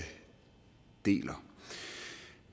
deler